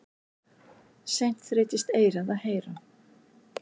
Seint þreytist eyrað að heyra.